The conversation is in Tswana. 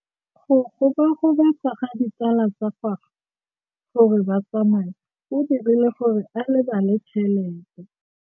Go gobagobetsa ga ditsala tsa gagwe, gore ba tsamaye go dirile gore a lebale tšhelete.